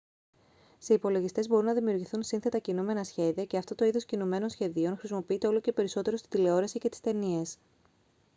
σε υπολογιστές μπορούν να δημιουργηθούν σύνθετα κινούμενα σχέδια και αυτό το είδος κινουμένων σχεδίων χρησιμοποιείται όλο και περισσότερο στην τηλεόραση και τις ταινίες